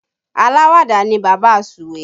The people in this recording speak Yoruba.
Alawada ni bàbá Suwe